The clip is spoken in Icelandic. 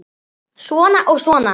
Svona og svona.